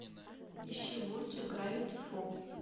ищи мультик гравити фолз